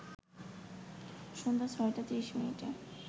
সন্ধ্যা ৬টা ৩০মিনিটে